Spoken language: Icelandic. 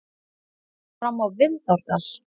Fram á Vindárdal.